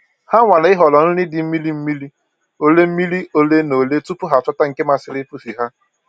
Ha nwara ịhọrọ nri dị mmiri mmiri ole mmiri ole na ole tupu ha achọta nke masiri pusi ha